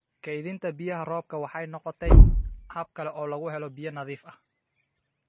Keydinta biyaha roobka waxay noqotay hab kale oo lagu helo biyo nadiif ah.